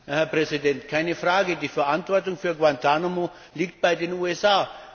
Herr Präsident! Keine Frage die Verantwortung für Guantánamo liegt bei den USA.